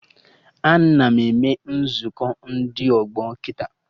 Ana eme Nzukọ ndị ọgbọ kịta